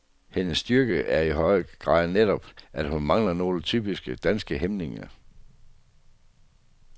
Hendes styrke er i høj grad netop, at hun mangler nogle typisk danske hæmninger.